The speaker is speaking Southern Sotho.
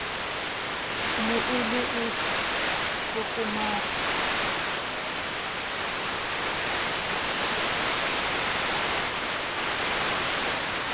ne e le e tlokomang